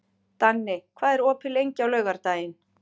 Danni, hvað er opið lengi á laugardaginn?